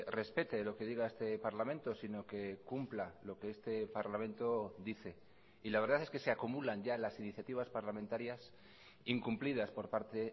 respete lo que diga este parlamento sino que cumpla lo que este parlamento dice y la verdad es que se acumulan ya las iniciativas parlamentarias incumplidas por parte